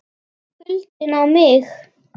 KULDINN á mig.